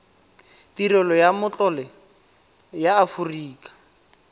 tirelo ya matlole ya aforika